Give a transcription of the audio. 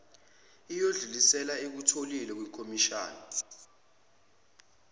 iyokwedlulisela ekutholile kwikhomishana